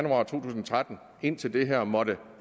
tretten indtil det her måtte